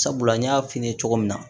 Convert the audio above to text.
Sabula n y'a f'i ye cogo min na